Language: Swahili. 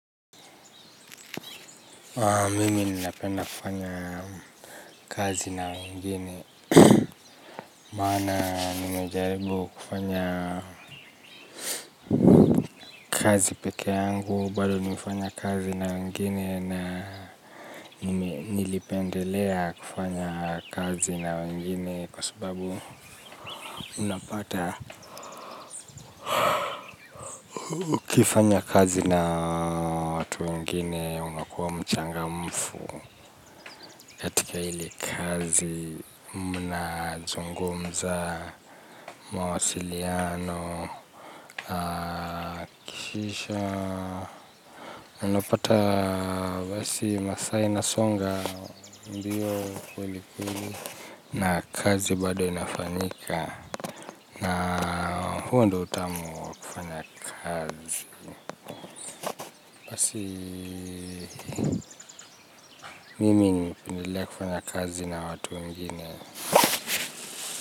Mimi ninapenda kufanya kazi na wengine maana nimejaribu kufanya kazi peke yangu, bado nimefanya kazi na wengine na nilipendelea kufanya kazi na wengine kwa sababu ninapata. Ukifanya kazi na watu wengine unakuwa mchangamfu, katika ile kazi mnazungumza, mawasiliano kisha unapata basi masaa inasonga mbio kweli kweli na kazi bado inafanyika na huo ndo utamu kufanya kazi. Mimi nimependelea kufanya kazi na watu wengine.